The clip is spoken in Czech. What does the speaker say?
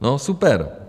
No super.